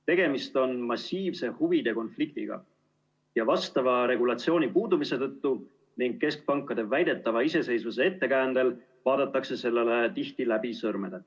Tegemist on massiivse huvide konfliktiga ja vastava regulatsiooni puudumise tõttu ning keskpankade väidetava iseseisvuse ettekäändel vaadatakse sellele tihti läbi sõrmede.